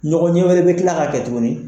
Ɲɔgɔn ɲɛ wɛrɛ bɛ tila ka kɛ tuguni